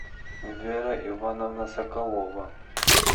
вера ивановна соколова